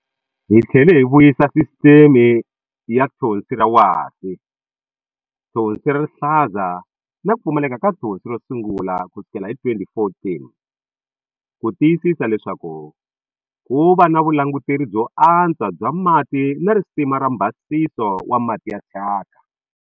Hi tlhele hi vuyisa sisiteme ya Thonsi ra Wasi, Thonsi ra Rihlaza na ku Pfumaleka ka Thonsi ro sungula kusukela hi 2014 ku tiyisisa leswaku ku va na vulanguteri byo antswa bya mati na risima ra mbhasiso wa mati ya thyaka.